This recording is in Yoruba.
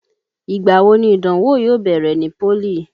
Igbà wo ni Ìdánwó yóò bẹ̀rẹ̀ ní pólì?